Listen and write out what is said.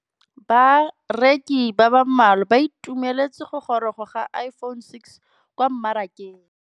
Bareki ba ba malwa ba ituemeletse go gôrôga ga Iphone6 kwa mmarakeng.